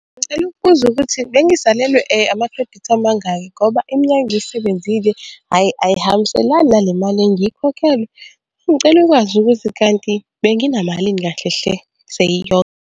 Ngicela ukubuza ukuthi bengisalelwe ama-credit amangaki ngoba iminyaka engizisebenzile, hhayi ayihambiselani nale mali engiyikhokhele. Ngicela ukwazi ukuthi kanti bese nginamalini kahle hle seyiyonke.